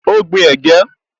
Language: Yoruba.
Ó gbin ẹ̀gẹ́